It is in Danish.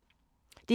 DR P2